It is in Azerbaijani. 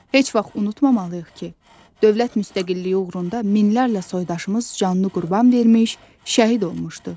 Heç vaxt unutmamalıyıq ki, dövlət müstəqilliyi uğrunda minlərlə soydaşımız canını qurban vermiş, şəhid olmuşdu.